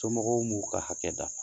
Somɔgɔw m'u ka hakɛ dafa.